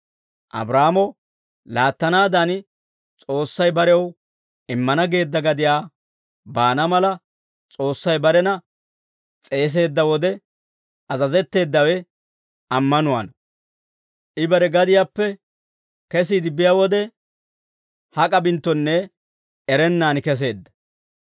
Abraahaamo laattanaadan, S'oossay barew immana geedda gadiyaa baana mala, S'oossay barena s'eeseedda wode, azazetteeddawe ammanuwaana; I bare gadiyaappe kesiide biyaa wode, hak'a binttonne erennaan kesseedda.